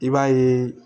I b'a ye